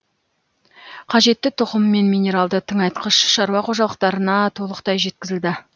қажетті тұқым мен минералды тыңайтқыш шаруа қожалықтарына толықтай жеткізілді